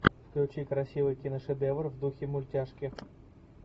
включи красивый киношедевр в духе мультяшки